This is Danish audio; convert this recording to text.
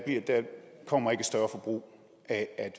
kommer ikke et større forbrug af at